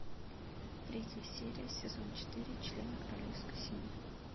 третья серия сезон четыре члены королевской семьи